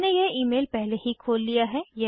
मैंने यह ईमेल पहले ही खोल लिया है